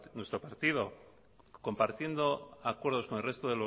nuestro partido compartiendo acuerdos con el resto